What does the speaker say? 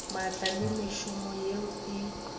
maatla le mešomo yeo e